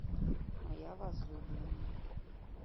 моя возлюбленная